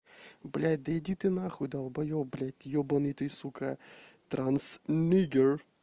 блять да иди ты нахуй долбоёб блять ёбаный ты сука трансниггер